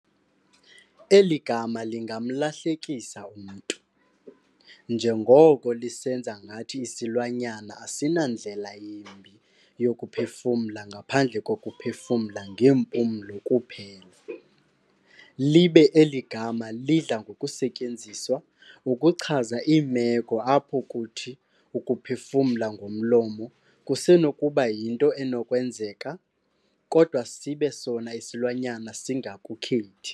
Eli gama lingamlahlekisa umntu, njengoko lisenza ngathi isilwanyana asina ndlela yimbi yokuphefumla ngaphandle kokuphefumla ngeempumlo kuphela, libe eli gama, lidla ngokusetyenziswa ukuchaza iimeko apho kuthi ukuphefumla ngomlomo kusenokuba yinto enokwenzeka, kodwa sibe sona isilwanyana singakukhethi.